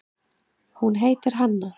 Hún heitir Hanna.